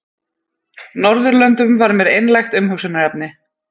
Norðurlöndum var mér einlægt umhugsunarefni.